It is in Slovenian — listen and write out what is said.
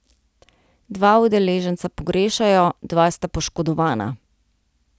Dva udeleženca pogrešajo, dva sta poškodovana.